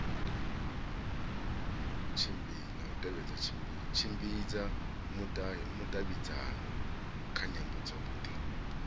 tshimbidza vhudavhidzano kha nyambo dzothe